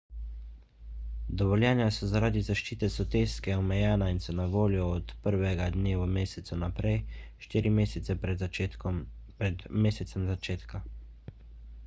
dovoljenja so zaradi zaščite soteske omejena in so na voljo od 1 dne v mesecu naprej štiri mesece pred mesecem začetka